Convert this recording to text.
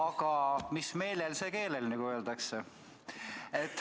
Aga mis meelel, see keelel, nagu öeldakse.